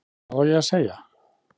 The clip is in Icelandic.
Hvað á ég að segja?